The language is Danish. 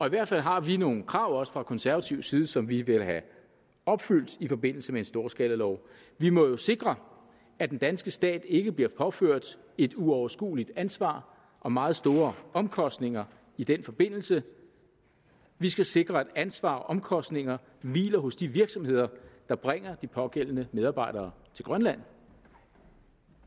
i hvert fald har vi nogle krav fra konservativ side som vi vil have opfyldt i forbindelse med en storskalalov vi må jo sikre at den danske stat ikke bliver påført et uoverskueligt ansvar og meget store omkostninger i den forbindelse vi skal sikre at ansvar og omkostninger hviler hos de virksomheder der bringer de pågældende medarbejdere til grønland